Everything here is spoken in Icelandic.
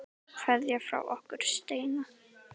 Kveðja frá okkur Steina.